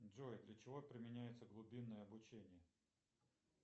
джой для чего применяется глубинное обучение